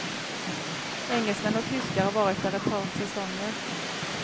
Engelsmän och tyskar har varit där ett par säsonger.